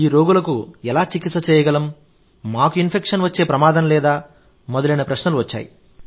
ఈ రోగులకు ఎలా చికిత్స చేయగలం మాకు ఇన్ఫెక్షన్ వచ్చే ప్రమాదం లేదా మొదలైన ప్రశ్నలు వచ్చాయి